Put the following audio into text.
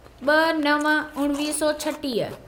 ब॒ नव उणिवीह सौ छटीह